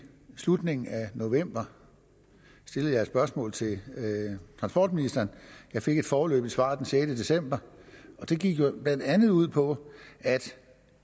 slutningen af november stillede jeg et spørgsmål til transportministeren jeg fik et foreløbigt svar den sjette december og det gik blandt andet ud på at